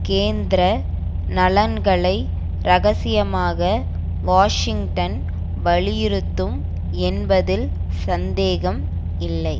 கேந்திர நலன்களை இரகசியமாக வாஷிங்டன் வலியுறுத்தும் என்பதில் சந்தேகம் இல்லை